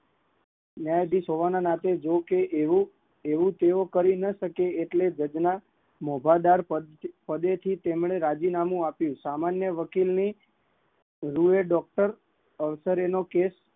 ન્યાયધીશ હોવાના નાતે જો કે એવું કઈ કરી ના શકે, એટલે જજ ના મોઘાદાર પદ પર થી રાજીનામુ આપિયું, સામાન્ય વકીલ ની ડૉક્ટર નો કેસ